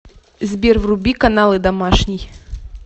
сбер вруби каналы домашний